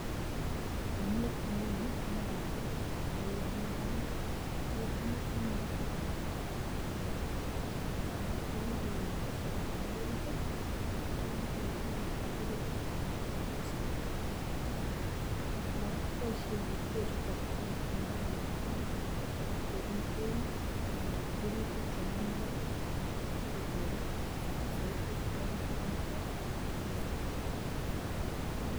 ainet neuni nebarit, neuron dam ketinye nemoloo en korenyon, sanasana ko kikeewerchi samakinik oriit i,Che yon kokoyeegitun kobendii bik ak bak korich samakinik choton. Ngan kora koboishien biik beechuton en dam kobiiten rurutik chemi imbaar sikotoret soiti yon momoten ropta